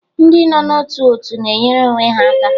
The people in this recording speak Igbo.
Ndị nọ n'ótù òtù na-enyere onwe ha aka